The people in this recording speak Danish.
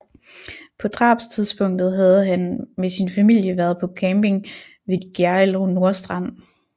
På drabstidspunktet havde han med sin familie været på camping ved Gjerrild Nordstrand